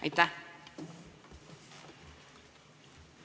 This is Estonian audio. Aitäh!